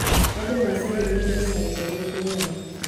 Andũ macaririe mbeca njerũ ngũrani.